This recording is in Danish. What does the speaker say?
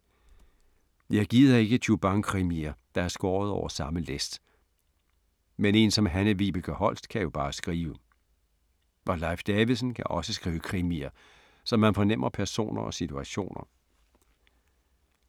Jeg gider ikke tju-bang-krimier, der er skåret over samme læst. Men én som Hanne-Vibeke Holst kan jo bare skrive. Og Leif Davidsen kan også skrive krimier, så man fornemmer personer og situationer.